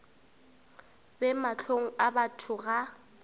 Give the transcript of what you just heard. be mahlong a batho ga